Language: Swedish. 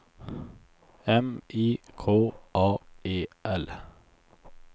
M I K A E L